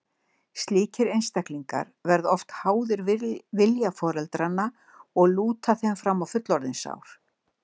Slíkir einstaklingar verða oft háðir vilja foreldranna og lúta þeim fram á fullorðinsár.